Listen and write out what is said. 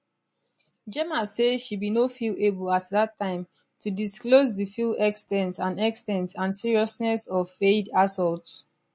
gemma say she bin no feel able at dat time to disclose di full ex ten t and ex ten t and seriousness of fayed assaults